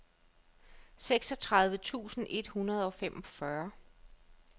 seksogtredive tusind et hundrede og femogfyrre